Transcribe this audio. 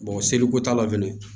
seliko t'a la fɛnɛ